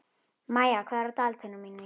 Maía, hvað er á dagatalinu mínu í dag?